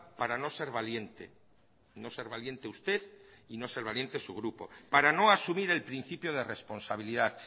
para no ser valiente no ser valiente usted y no ser valiente su grupo para no asumir el principio de responsabilidad